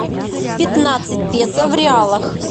пятнадцать песо в реалах